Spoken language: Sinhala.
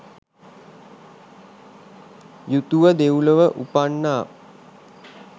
යුතුව දෙව්ලොව උපන්නා.